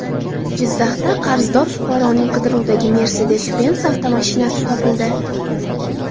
Jizzaxda qarzdor fuqaroning qidiruvdagi Mercedes-Benz avtomashinasi topildi.